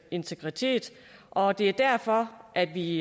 integritet og det er derfor at vi